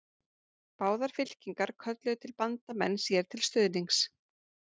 Báðar fylkingar kölluðu til bandamenn sér til stuðnings.